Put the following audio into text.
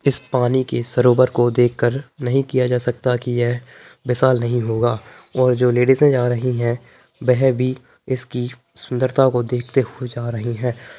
इस पानी की सरोवर को देख कर नहीं किया जा सकता की यह विशाल नहीं होगा और जो लेडीजे जा रही हैं वह भी इसकी सुंदरता को देखते हुए जा रही हैं।